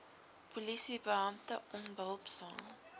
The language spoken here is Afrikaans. polisie beampte onbehulpsaam